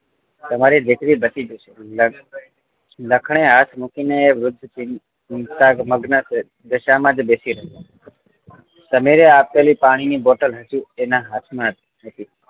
તમારી દીકરી બચી જશે લખણે હાથ મૂકીને વૃદ્ધ ચિંતામગ્ન દશા માંજ બેસી રહ્યો સમીરે આપેલી પાણી ની બોટલ હજી તેનાં હાથ માંજ હતી